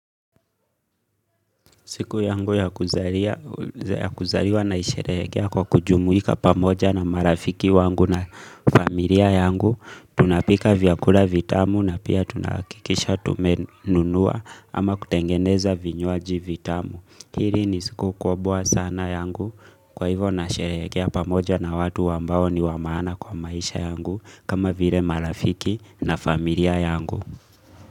Siku yangu ya kuzaliwa naisherehekea kwa kujumuika pamoja na marafiki wangu na familia yangu. Tunapika vyakula vitamu na pia tunahakikisha tumenunua ama kutengeneza vinywaji vitamu. Hili ni siku kubwa sana yangu kwa hivo nasherehekea pamoja na watu ambao ni wa maana kwa maisha yangu kama vile marafiki na familia yangu.